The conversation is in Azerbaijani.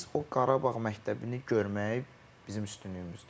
Və biz o Qarabağ məktəbini görmək bizim üstünlüyümüzdür.